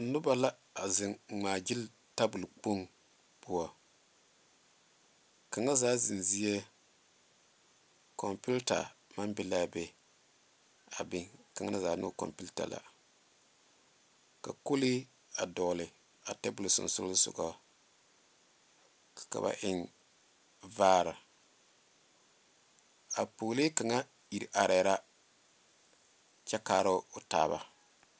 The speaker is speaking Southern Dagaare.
Noba la a zeŋ ŋmaa gyile tabol kpoŋ poɔ kaŋa zaa zeŋ zie konpita maŋ be la a be a biŋ ka na zaa ne o konpita la ka kolee a dogle a tabol sonsogle soga ka ba eŋ vaare a pɔgelee kaŋa iri are la kyɛ kaara o taaba.